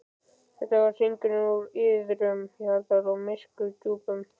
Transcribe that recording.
Þetta var hringing úr iðrum jarðar, úr myrku djúpi.